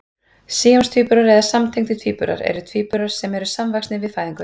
síamstvíburar eða samtengdir tvíburar eru tvíburar sem eru samvaxnir við fæðingu